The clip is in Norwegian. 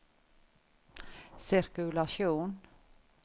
sirkulasjon